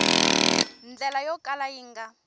ndlela yo kala yi nga